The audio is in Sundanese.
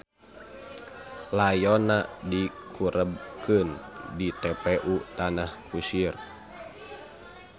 Layonna dikurebkeun di TPU Tanah Kusir.